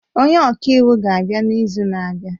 Onye ọka iwu ga-abịa n'izu na-abịa